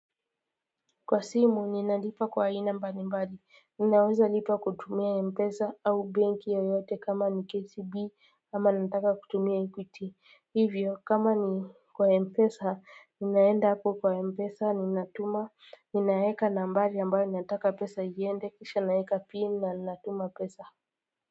Kwa simu ninalipa kwa aina mbalimbali ninaweza lipa kutumia mpesa au benki yeyote kama ni kcb ama nataka kutumia equity, hivyo kama ni kwa mpesa, ninaenda hapo kwa mpesa, ninatuma, ninaeka nambari ambayo ninataka pesa iende, kisha naeka pin na ninatuma pesa.